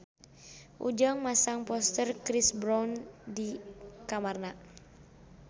Ujang masang poster Chris Brown di kamarna